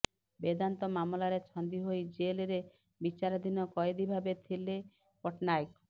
ବେଦାନ୍ତ ମାମଲାରେ ଛନ୍ଦି ହୋଇ ଜେଲ୍ ରେ ବିଚାରଧିନ କଏଦି ଭାବେ ଥିଲେ ପଟ୍ଟନାୟକ